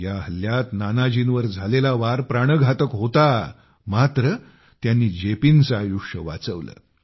या हल्ल्यात नानाजींवर झालेला वार प्राणघातक होता मात्र त्यांनी जेपींचे आयुष्य वाचवले